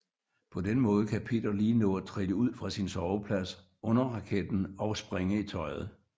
På den måde kan Peter lige nå at trille ud fra sin soveplads under raketten og springe i tøjet